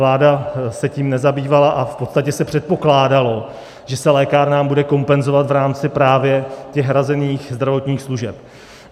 Vláda se tím nezabývala a v podstatě se předpokládalo, že se lékárnám bude kompenzovat v rámci právě těch hrazených zdravotních služeb.